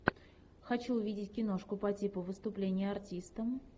хочу увидеть киношку по типу выступление артиста